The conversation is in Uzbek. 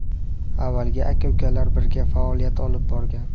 Avvaliga aka-ukalar birga faoliyat olib borgan.